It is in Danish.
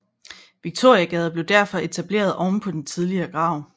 Viktoriagade blev derfor etableret ovenpå den tidligere grav